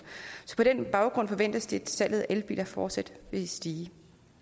så på den baggrund forventes det at salget af elbiler fortsat vil stige